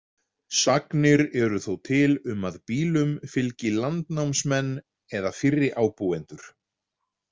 Sagnir eru þó til um að býlum fylgi landnámsmenn eða fyrri ábúendur.